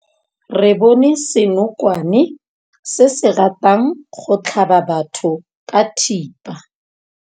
Re bone senokwane se se ratang go tlhaba batho ka thipa.